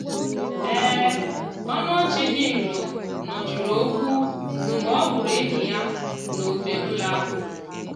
ọnụ ọchị dị nro nọchiri okwu mgbe ọ hụrụ enyi ya n'ofe ụlọ ahụ.